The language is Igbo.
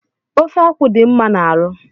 Ofe akwụ dị mma n'arụ